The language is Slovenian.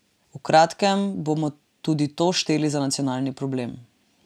V kratkem bomo tudi to šteli za nacionalni problem.